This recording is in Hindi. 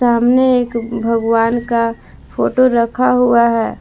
सामने एक भगवान का फोटो रखा हुआ है।